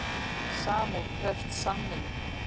Sambúð krefst samvinnu.